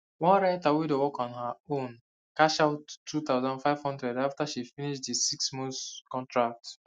one writter wey dey work on her own cash out two thousand five hundred after she finish the six month contract